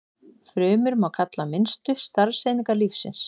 Frumur má kalla minnstu starfseiningar lífsins.